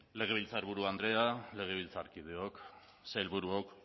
legebiltzarburu andrea legebiltzarkideok sailburuok